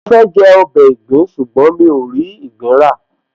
Mo fẹ́ jẹ ọbẹ̀ ìgbín ṣùgbọ́n mi ò rí ìgbín rà